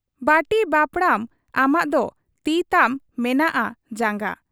ᱵᱟᱹᱴᱤ ᱵᱟᱹᱯᱲᱟᱹᱢ ᱟᱢᱟᱜ ᱫᱚ ᱛᱤ ᱛᱟᱢ ᱢᱮᱱᱟᱜ ᱟ ᱡᱟᱝᱜᱟ ?